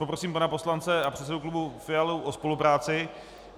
Poprosím pana poslance a předsedu klubu Fialu o spolupráci...